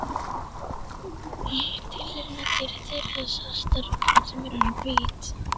Ég er tilraunadýrið þeirra, svarta rottan sem orðin er hvít.